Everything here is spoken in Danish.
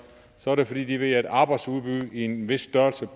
så er det fordi de ved at arbejdsudbud i en vis størrelse